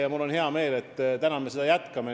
Ja mul on hea meel, et me seda täna jätkame.